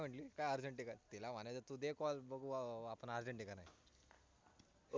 आणि काय म्हटली काय urgent आहे का तिला म्हणायचं तुझे call बघू आपण rujent आहे का